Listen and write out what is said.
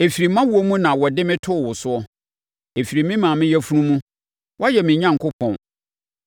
Ɛfiri mʼawoɔ mu na wɔde me too wo soɔ; ɛfiri me maame yafunu mu, woayɛ me Onyankopɔn.